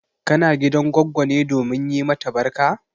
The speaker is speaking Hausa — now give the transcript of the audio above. Kana gidan goggo ne domin yi mata barka?